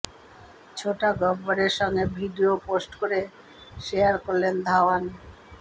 ছোটা গব্বরের সঙ্গে ভিডিও পোস্ট করে শেয়ার করলেন ধাওয়ান